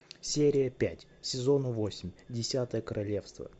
серия пять сезона восемь десятое королевство